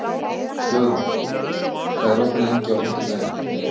Guðrún, hvað er opið lengi á fimmtudaginn?